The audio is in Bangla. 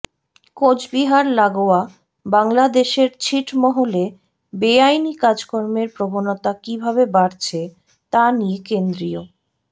কোচবিহার লাগোয়া বাংলাদেশের ছিটমহলে বেআইনি কাজকর্মের প্রবণতা কী ভাবে বাড়ছে তা নিয়ে কেন্দ্রীয়